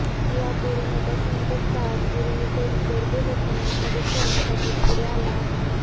या करोनाच्या संकटकाळत गुरमीतही गरजू लोकांना मदत करण्यासाठी पुढे आला आहे